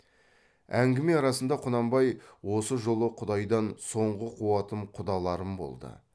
әңгіме арасында құнанбай осы жолы құдайдан соңғы қуатым құдаларым болды